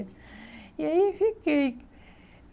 E aí, fiquei.